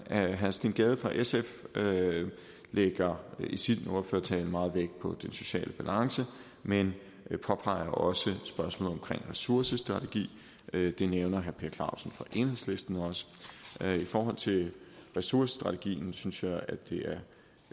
herre steen gade fra sf lægger i sin ordførertale meget vægt på den sociale balance men påpeger også spørgsmålet ressourcestrategi det nævner herre per clausen fra enhedslisten også i forhold til ressourcestrategien synes jeg det